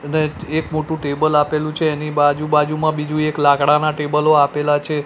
અને એક મોટુ ટેબલ આપેલુ છે એની બાજુ બાજુમાં બીજુ એક લાકડાના ટેબલો આપેલા છે.